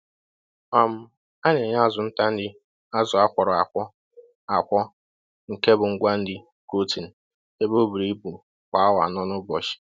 um A na-enye azu nta nri azụ akwọrọ akwọ akwọ nke bu ngwa nri protein ebe oburu ibu kwa awa anọ n'ụbọchị